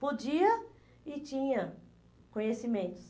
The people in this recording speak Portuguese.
Podia e tinha conhecimentos.